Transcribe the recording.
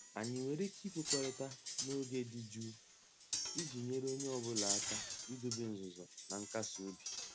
Anyị nwere ike ikwekọrịta n'oge dị jụụ iji nyere onye ọ bụla aka idobe nzuzo na nkasi obi?